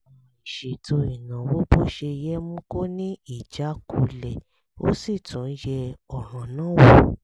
àìṣètò ìnáwó bó ṣe yẹ mú kó ní ìjákulẹ̀ ó sì tún yẹ̀ ọ̀ràn náà wò